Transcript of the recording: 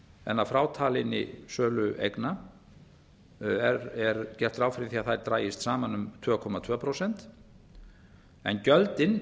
en að frátalinni sölu eigna er gert ráð fyrir því að þær dragist saman um tvö komma tvö prósent en gjöldin